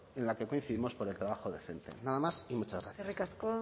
en la que coincidimos por el trabajo decente nada más y muchas gracias eskerrik asko